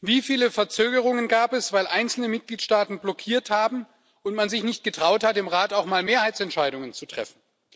Wie viele Verzögerungen gab es, weil einzelne Mitgliedstaaten blockiert haben und man sich nicht getraut hat, im Rat auch mal Mehrheitsentscheidungen zu treffen?